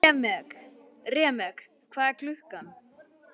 Remek, hvað er klukkan?